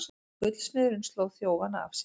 Gullsmiðurinn sló þjófana af sér